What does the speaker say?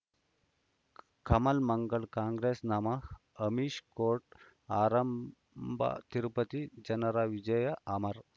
Kamal Mangal Congress ನಮಃ Amish court ಆರಂಭ ತಿರುಪತಿ ಜನರ ವಿಜಯ ಅಮರ್